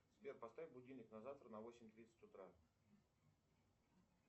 сбер поставь будильник на завтра на восемь тридцать утра